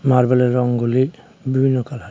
মার্বেলের রঙগুলি বিভিন্ন কালার .